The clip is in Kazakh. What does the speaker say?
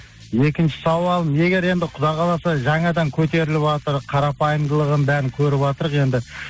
екінші сауал егер енді құдай қаласа жаңадан көтеріліватыр қарапайымдылығын бәрін көріватырқ енді